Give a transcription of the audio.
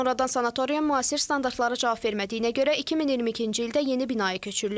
Sonradan sanatoriya müasir standartlara cavab vermədiyinə görə 2022-ci ildə yeni binaya köçürülüb.